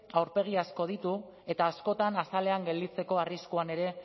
aurpegi asko ditu eta askotan azalean gelditzeko arriskuan ere